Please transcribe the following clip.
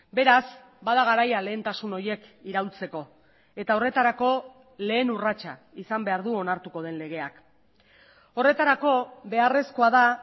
beraz bada garaia lehentasun horiek iraultzeko eta horretarako lehen urratsa izan behar du onartuko den legeak horretarako beharrezkoa da